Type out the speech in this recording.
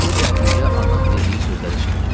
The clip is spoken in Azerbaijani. Qapıya gəldikdə anan dediyi sözləri eşitdim.